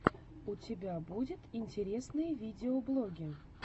у тебя будет интересные видеоблоги